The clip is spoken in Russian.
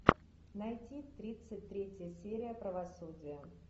найти тридцать третья серия правосудия